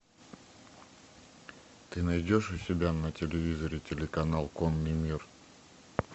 ты найдешь у себя на телевизоре телеканал конный мир